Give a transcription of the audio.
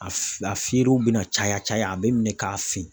A feerew bɛna caya caya a bɛ minɛn k'a fin.